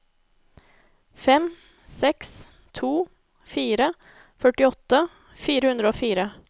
fem seks to fire førtiåtte fire hundre og fire